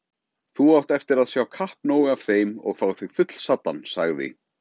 Þú átt eftir að sjá kappnóg af þeim og fá þig fullsaddan, sagði